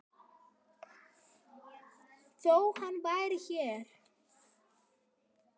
Þó hann væri hér.